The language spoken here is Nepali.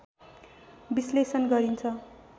विश्लेषण गरिन्छ